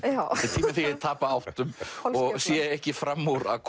þegar ég tapa áttum og sé ekki fram úr að